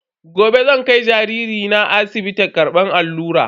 Gobe zan kai jariri na asibiti karbar allura.